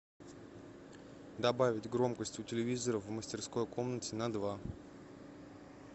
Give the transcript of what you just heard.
добавить громкость у телевизора в мастерской комнате на два